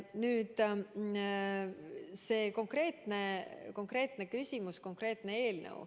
Nüüd see konkreetne küsimus, konkreetne eelnõu.